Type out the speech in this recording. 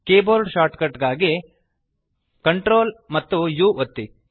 keyboard shortcut ಗಾಗಿ Ctrl amp U ಒತ್ತಿ